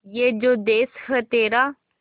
ये जो देस है तेरा